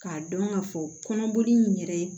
K'a dɔn k'a fɔ kɔnɔboli in yɛrɛ